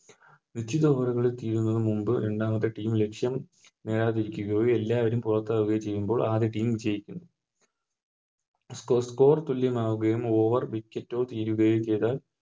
നിശ്ചിത Ovar കൾ തീരുന്നതിനു മുൻപ് രണ്ടാമത്തെ Team ലക്ഷ്യം നേടാതിരിക്കുകയോ എല്ലാവരും പുറത്താക്കുകയോ ചെയ്യുമ്പോൾ ആദ്യ Team ജയിക്കുന്നു Score score തുല്യമാവുകയും Over wicket കൾ തീരുകയും ചെയ്താൽ